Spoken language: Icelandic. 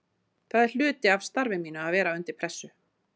Það er hluti af starfi mínu að vera undir pressu.